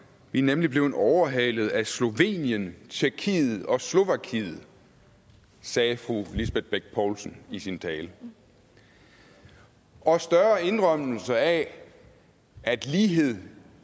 vi er nemlig blevet overhalet af slovenien tjekkiet og slovakiet sagde fru lisbeth bech poulsen i sin tale og større indrømmelse af at lighed